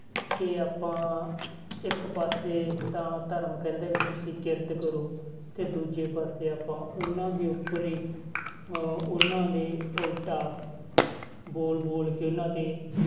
ਕਿ ਆਪਾਂ ਇੱਕ ਪਾਸੇ ਤਾਂ ਧਰਮ ਕਹਿੰਦਾ ਵੀ ਤੁਸੀਂ ਕਿਰਤ ਕਰੋ ਤੇ ਦੂਜੇ ਪਾਸੇ ਆਪਾਂ ਉਹਨਾਂ ਦੇ ਉੱਪਰ ਹੀ ਅਹ ਉਹਨਾਂ ਦੇ ਉਲਟਾ ਬੋਲ ਬੋਲ ਕੇ ਉਹਨਾਂ ਤੇ,